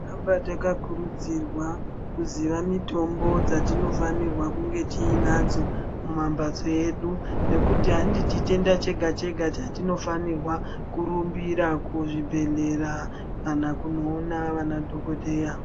Tinoramba takakurudzirwa kuziya mitombo dzatinofana kunge tinadzo mumambatso edu ngekuti handi chitenda chega chega chatinofanira kurumbira kuzvibhehlera kana kunoona vana dhokodheya.